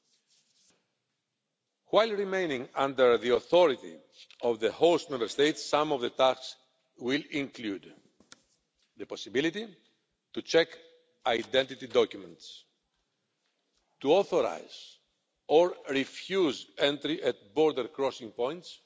While remaining under the authority of the host Member States, some of the tasks will include the possibility to check identity documents, to authorise or refuse entry at border crossing points,